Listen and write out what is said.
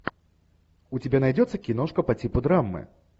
у тебя найдется киношка по типу драмы